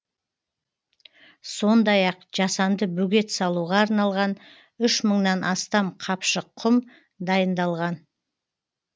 сондай ақ жасанды бөгет салуға арналған үш мыңнан астам қапшық құм дайындалған